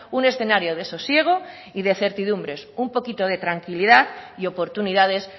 un escenario de sosiego y de certidumbres un poquito de tranquilidad y oportunidades